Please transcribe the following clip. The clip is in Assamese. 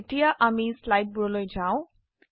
এতিয়া আমি স্লাইড বোৰলৈ যাও